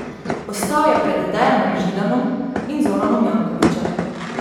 Ostal je pred Dejanom Židanom in Zoranom Jankovićem.